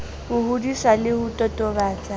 ho hodisa le ho totobatsa